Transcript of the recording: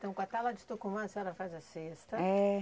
Então com a tala de Tucumã, a senhora faz a cesta. É.